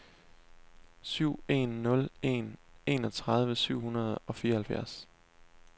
syv en nul en enogtredive syv hundrede og fireoghalvfjerds